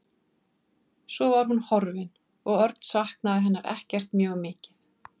Svo var hún horfin og Örn saknaði hennar ekkert mjög mikið.